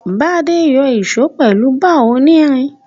Bádé n yo ìso pèlu bar onírin